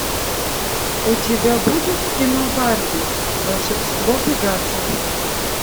у тебя будет кино барби волшебство пегаса